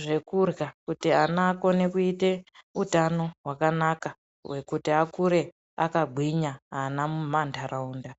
zvekurya kuti vana vakone kuita hutano hwakanaka hwekuti akure akagwinya vana munharaunda..